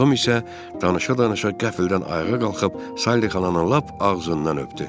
Tom isə danışa-danışa qəflətən ayağa qalxıb Sally xalanı lap ağzından öpdü.